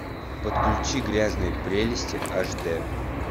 подключи грязные прелести аш д